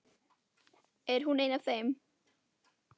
Er hún ein af þeim?